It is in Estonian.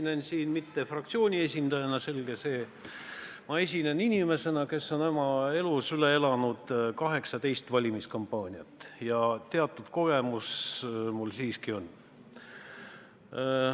Ma ei esine siin fraktsiooni esindajana, selge see, vaid inimesena, kes on oma elus üle elanud 18 valimiskampaaniat, nii et teatud kogemus mul siiski on.